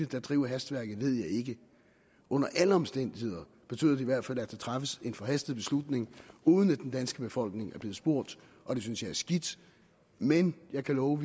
der driver hastværket ved jeg ikke under alle omstændigheder betyder det i hvert fald at der træffes en forhastet beslutning uden at den danske befolkning er blevet spurgt og det synes jeg er skidt men jeg kan love